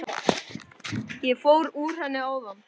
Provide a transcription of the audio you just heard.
Ég fór úr henni áðan.